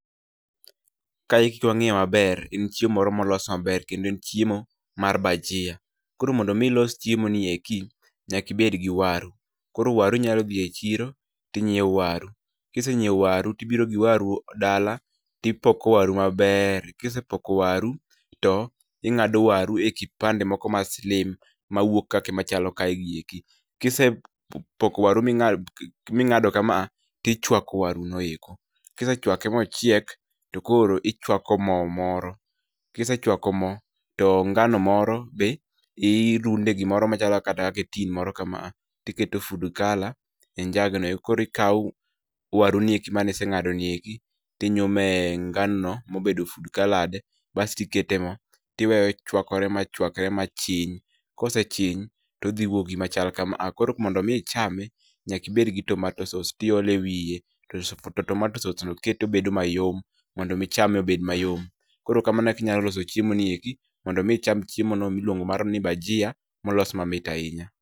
Kaeki kwang'iye maber, en chiemo moro molos maber kendo en chiemo mar bagiya. Koro mondo mi ilos chiemo ni eki, nyaki ibed gi waru. Koro waru inyalo dhi e chiro, tinyiew waru. Kisenyiew waru tibiro gi waru dala, tipoko waru maber. Kisepoko waru, to ing'ado waru e kipande moko ma slim mawuok kaki machalo kae gi eki. Kisep poko waru ming'a ming'ado kama a, tichwako waru no eko. Kisechwake mochiek, to koro, ichwako moo moro. Kisechwako moo to ngano moro be, i runde e gimoro machalo kata kake e tin moro kama a tiketo food color e njug no eko. Koro ikaw, waru nieki maniseng'ado nieki, tinyume e ngano no mobedo food colored, basto ikete e moo, tiweye ochwakore machwakre machiny. Kosechiny, todhiwuok gimachal kama a. Koro mondo mi ichame, nyaki ibed gi tomato sauce tiole ewiye, to toto tomato sauce no kete obedo mayom, mondo mi chame obed mayom. Koro kamano e kaka inyalo loso chiemo ni eki, mondo mi icham chiemo no miluongo ni mano mar bagiya, molos mamit ahinya